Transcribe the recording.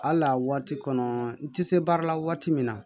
Hali a waati kɔnɔ n ti se baara la waati min na